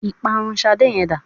Ìparun Ṣadé yẹn dá?